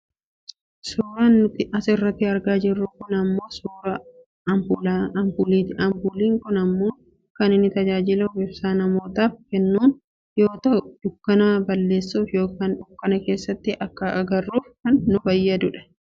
Suuraan nuti as irratti argaa jirru kun ammoo suuraa ampuuliiti. Ampuuliin kun ammoo kan inni tajaajiluf ibsaa namootaaf keennuun yoo ta'u, dukkana balleesuuf yookaan dukkana keessatti akka agarruuf kan nu fayyadudha.